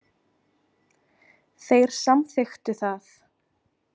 Þeir samþykktu það.